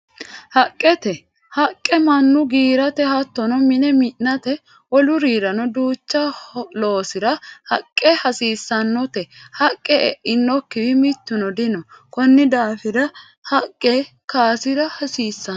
Haqqete, haqqe manu giirate hattonno mine minate, wolu'riranno duuchu loosirra haqe hasiisanotte haqe e'anokiwi mituno dinno konni daafira jaqqe kaasira hasiisano